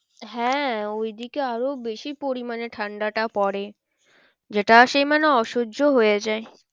হ্যাঁ ওই দিকে আরো বেশি পরিমানে ঠান্ডাটা পরে যেটা সে মানে অসহ্য হয়ে যায়।